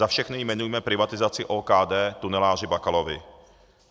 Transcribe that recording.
Za všechny jmenujme privatizaci OKD tuneláři Bakalovi.